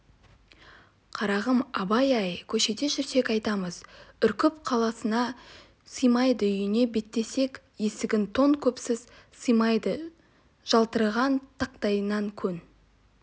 қарағым абай-ай көшеде жүрсек атымыз үркіп қаласына сыймайды үйіне беттесек есігінен тон-күпіміз сыймайды жалтыраған тақтайынан көн